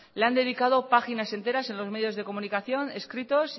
le han dedicado páginas enteras en los medios de comunicación escritos